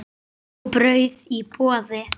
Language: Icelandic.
Súpa og brauð í boði.